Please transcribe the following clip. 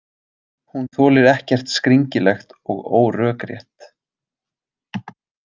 Hún þolir ekkert skringilegt og órökrétt.